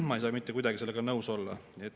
Ma ei saa mitte kuidagi sellega nõus olla.